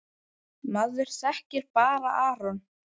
Maður þekkir bara Aron.